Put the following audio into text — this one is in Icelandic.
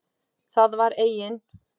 Það var eigin